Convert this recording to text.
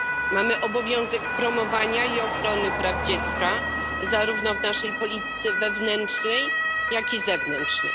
Mamy obowiązek promowania i ochrony praw dziecka, zarówno w naszej polityce wewnętrznej, jak i zewnętrznej.